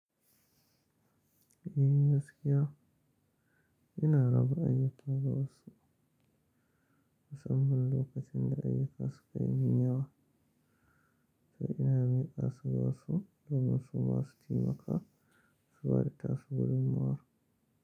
Eh gaskiya. Ina raba ayyuka ga wasu musamman lokacin da ayyuka suka yi min yawa. To ina miƙa su ga wasu domin su masu taimaka su bada tasu gudunmawar.